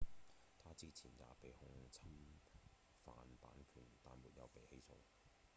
他之前也被控侵犯版權但沒有被起訴